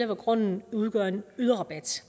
når grunden udgør en yderrabat